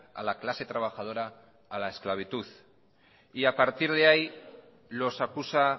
a la clase trabajadora a la esclavitud y a partir de ahí los acusa